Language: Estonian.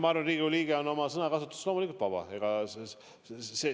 Ma arvan, et Riigikogu liige on oma sõnakasutuses loomulikult vaba.